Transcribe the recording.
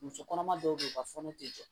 Muso kɔnɔma dɔw be yen u ka fɔnɔ te jɔ